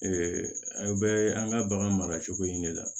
aw bɛ an ka bagan mara cogo in de la